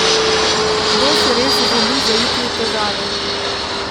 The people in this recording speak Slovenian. Kdo si res želi zaiti v težave?